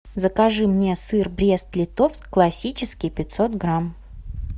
закажи мне сыр брест литовск классический пятьсот грамм